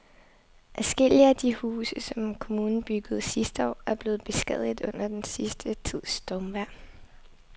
Adskillige af de huse, som kommunen byggede sidste år, er blevet beskadiget under den sidste tids stormvejr.